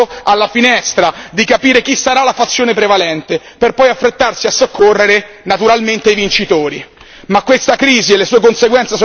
Sembra invece che stia solo aspettando alla finestra di capire chi sarà la fazione prevalente, per poi affrettarsi a soccorrere naturalmente i vincitori.